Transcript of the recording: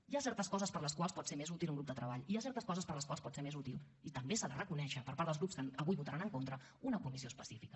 hi ha certes coses per a les quals pot ser més útil un grup de treball i hi ha certes coses per a les quals pot ser més útil i també s’ha de reconèixer per part dels grups que avui hi votaran en contra una comissió específica